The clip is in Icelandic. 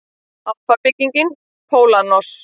Alfa-bygging pólons.